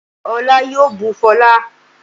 Olá yoo bú fọlá